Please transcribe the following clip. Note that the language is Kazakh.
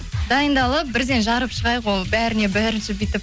дайындалып бірден жарып шығайық ол бәріне бәрін